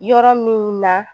Yɔrɔ min na